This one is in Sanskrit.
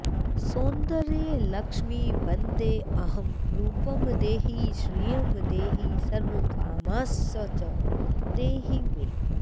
सौन्दर्यलक्ष्मि वन्देऽहं रूपं देहि श्रियं देहि सर्वकामांश्च देहि मे